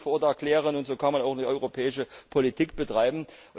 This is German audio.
Das kann man nicht erklären, und so kann man auch keine europäische Politik betreiben.